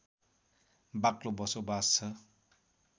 बाक्लो बसोबास छ